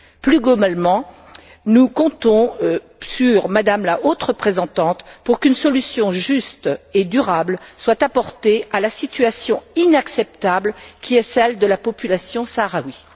Plus globalement, nous comptons sur Mme la haute représentante pour qu'une solution juste et durable soit apportée à la situation inacceptable qui est celle de la population sahraouie.